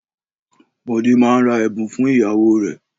Bọ̀dé máa ra ẹ̀bùn fún ìyàwó rè